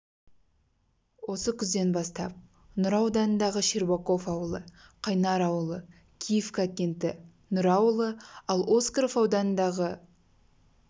осы күзден бастап нұра ауданындағы щербаков ауылы қайнар ауылы киевка кенті нұра ауылы ал оскаров ауданындағы